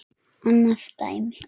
Annað dæmi.